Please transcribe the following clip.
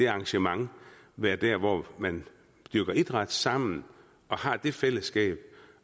arrangement være der hvor man dyrker idræt sammen og har det fællesskab